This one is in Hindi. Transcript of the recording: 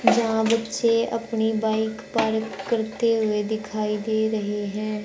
जहां बच्चे अपनी बाइक पार्क करते हुए दिखाई दे रहे है।